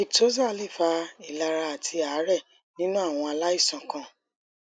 victoza lè fa ìlara àti àárè nínú àwọn aláìsàn kan